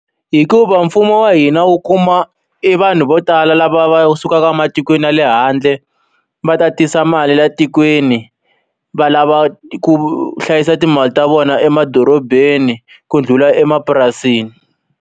Hikuva mfumo wa hina wu kuma e vanhu vo tala lava va sukaka ematikweni ya le handle, va ta tisa mali liya tikweni va lava ku hlayisa timali ta vona emadorobeni ku ndlhula emapurasini.